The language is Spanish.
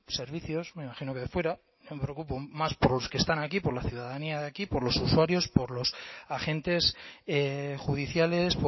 servicios me imagino que de fuera me preocupo más por los que están aquí por la ciudadanía de aquí por los usuarios por los agentes judiciales